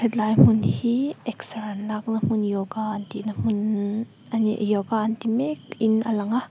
tlai hmun hi exer an lakna hmun yoga an tihna hmun nn a ni yoga an ti mekin a lang a.